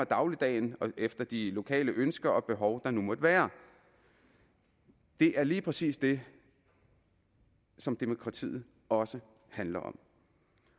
dagligdagen efter de lokale ønsker og behov der måtte være det er lige præcis det som demokratiet også handler om